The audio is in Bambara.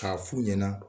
K'a f'u ɲɛna